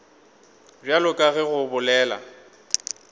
bjalo ka ge o bolela